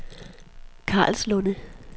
Karlslunde